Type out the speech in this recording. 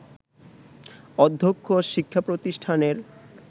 অধ্যক্ষ শিক্ষা প্রতিষ্ঠানের